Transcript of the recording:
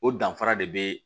O danfara de bee